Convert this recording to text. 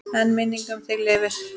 En minning um þig lifir.